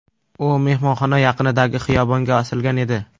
U mehmonxona yaqinidagi xiyobonga osilgan edi.